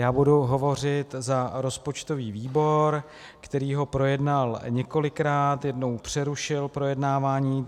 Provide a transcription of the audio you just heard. Já budu hovořit za rozpočtový výbor, který ho projednal několikrát, jednou přerušil projednávání.